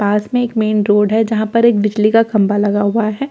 पास में एक main road है जहां पर एक बिजली का खंभा लगा हुआ है।